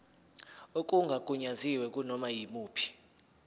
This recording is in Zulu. okungagunyaziwe kunoma yimuphi